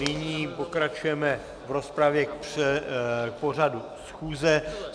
Nyní pokračujeme v rozpravě k pořadu schůze.